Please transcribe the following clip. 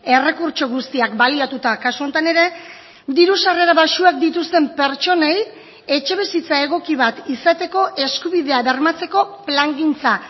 errekurtso guztiak baliatuta kasu honetan ere diru sarrera baxuak dituzten pertsonei etxebizitza egoki bat izateko eskubidea bermatzeko plangintza